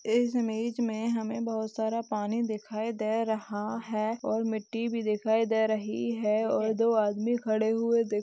इस इमेज में हमे बहुत सारा पानी दिखाई दे रहा है और मिट्टी भी दिखाई दे रही है और दो आदमी खड़े हुए--